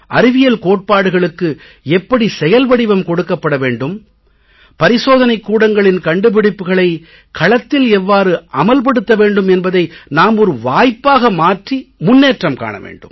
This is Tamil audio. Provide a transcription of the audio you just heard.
அறிவியல் கோட்பாடுகளுக்கு எப்படி செயல்வடிவம் கொடுக்கப்பட வேண்டும் பரிசோதனைக் கூடங்களின் கண்டுபிடிப்புக்களைக் களத்தில் எவ்வாறு அமல் படுத்த வேண்டும் என்பதை நாம் ஒரு வாய்ப்பாக மாற்றி முன்னேற்றம் காண வேண்டும்